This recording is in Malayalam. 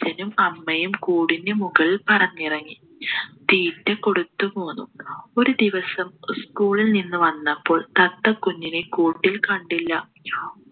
അച്ഛനും അമ്മയും കൂടിന് മുകളിൽ പറന്നിറങ്ങി തീറ്റ കൊടുത്തു പോന്നു ഒരു ദിവസം school ൽ നിന്നു വന്നപ്പോൾ തത്ത കുഞ്ഞിനെ കൂട്ടിൽ കണ്ടില്ല